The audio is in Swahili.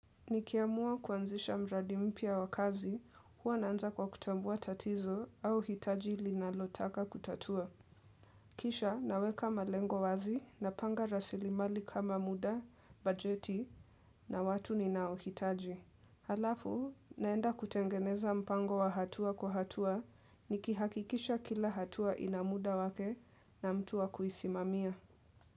Nikiamua kuanzisha mradi mpya wa kazi, huwa naanza kwa kutambua tatizo au hitaji ilinalotaka kutatua. Kisha, naweka malengo wazi napanga rasilimali kama muda, bajeti na watu ninao hitaji. Halafu, naenda kutengeneza mpango wa hatua kwa hatua, nikihakikisha kila hatua ina mda wake na mtu wa kuisimamia.